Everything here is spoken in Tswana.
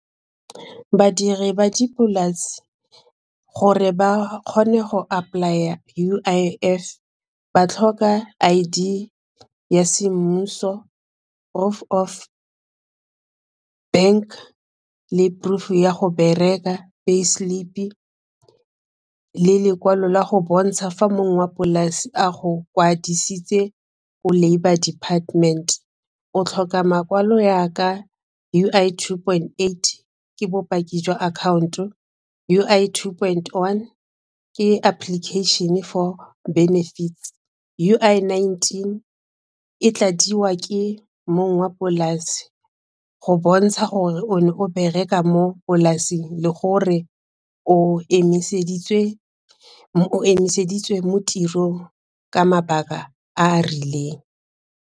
Badiri ba dipolase gore ba kgone go apply-a U_I_F ba tlhoka I_D ya semmuso proof of bank le proof ya go bereka, pay slip-i le lekwalo la go bontsha fa mong wa polase a go kwadisitswe Ko labour department o tlhoka makwalo jaaka U_I two point eight ke bopaki jwa akhaonto U_I two point one ke application for benefits, U_I nineteen e tladiwa ke mong wa polase go bontsha gore o ne o bereka mo polasing le gore o emiseditswe mo tirong ka mabaka a a rileng.